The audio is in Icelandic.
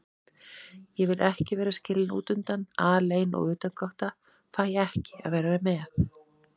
Ég vil ekki vera skilin útundan, alein og utangátta, fæ ekki að vera með.